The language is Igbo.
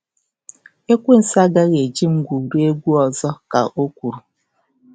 “Ekwensu agaghị eji m gwurie egwu ọzọ,” ka o kwuru.